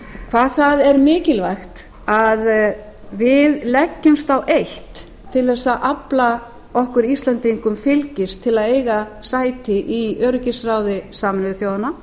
hvað það er mikilvægt að við leggjumst á eitt til þess að afla okkur íslendingum fylgis til að eiga sæti í öryggisráði sameinuðu þjóðanna